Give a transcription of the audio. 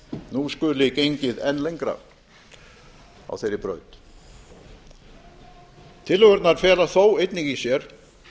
nú skuli gengið enn lengra á þeirri braut tillögurnar fela þó einnig í sér